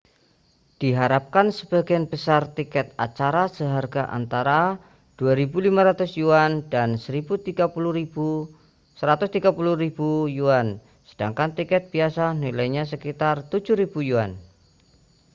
diharapkan sebagian besar tiket acara seharga antara â¥2.500 dan â¥130.000 sedangkan tiket biasa nilainya sekitar â¥7.000